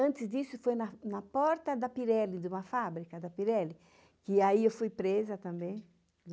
Antes disso, foi na porta da Pirelli, de uma fábrica da Pirelli, que aí eu fui presa também.